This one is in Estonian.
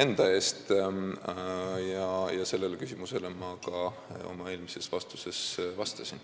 enda eest ja sellele küsimusele ma ka vastasin oma eelmises vastuses.